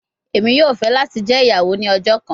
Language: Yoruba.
Emi yoo fẹ lati jẹ iyawo ni ọjọ kan